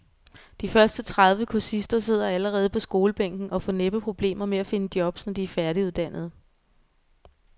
De første tredive kursister sidder allerede på skolebænken og får næppe problemer med at finde jobs, når de er færdiguddannede.